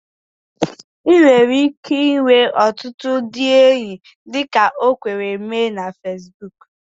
Ị nwere ike inwe ọtụtụ ndị enyi dịka o kwere mee na Fesbuku